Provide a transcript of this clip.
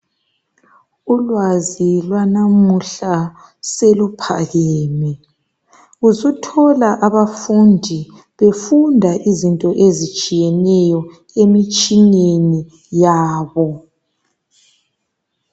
ulwazi lwanamuhla soluphakeme usuthola abafundi befunda izinto ezitshiyeneyo emitshineni yabo